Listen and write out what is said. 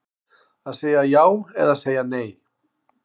Að segja já eða segja nei